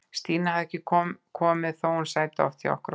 Stína hafði ekkert komið, þótt hún sæti oft hjá okkur á kvöldin.